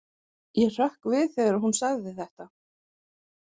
Ég hrökk við þegar hún sagði þetta.